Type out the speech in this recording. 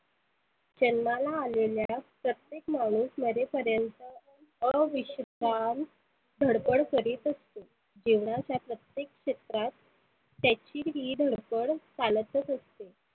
जन्माला आलेल्या प्रत्येक माणुस मरे पर्यंत अविषपान धडपड करित असतो. जिवणाच्या प्रत्येक क्षेत्रात त्याची ही धडपड चालतच असते.